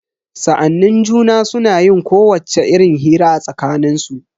Sa'annin juna suna yin kowacce irin hira a tsakanin su.